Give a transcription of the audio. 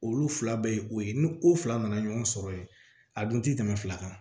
Olu fila bɛɛ ye o ye ni o fila nana ɲɔgɔn sɔrɔ yen a dun ti tɛmɛ fila kan